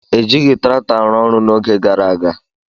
Ejighị traktọ arụ ọrụ n'oge gara aga.